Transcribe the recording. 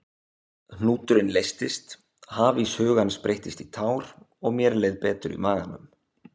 Hnúturinn leystist, hafís hugans breyttist í tár og mér leið betur í maganum.